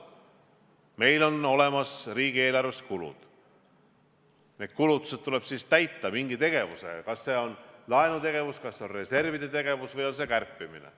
Meil on olemas riigieelarves kulud, need kulutused tuleb siis täita mingi tegevusega, kas see on laenutegevus, kas need on reservid või on see kärpimine.